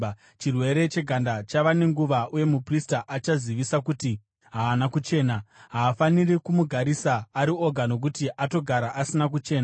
chirwere cheganda chava nenguva uye muprista achazivisa kuti haana kuchena. Haafaniri kumugarisa ari oga, nokuti atogara asina kuchena.